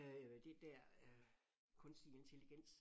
Øh det der øh kunstig intelligens